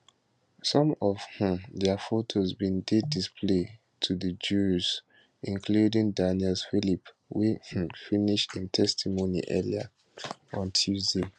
some of um dia photos bin dey displayed to di jurors including daniel phillip wey um finish im testimony earlier on tuesday